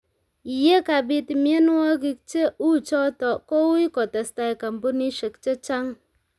Ye kabiit mienwokik che uchoto koui kotestai kampunisiek che chang'